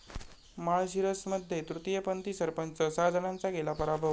माळशिरसमध्ये तृतीयपंथी सरपंच, सहा जणांचा केला पराभव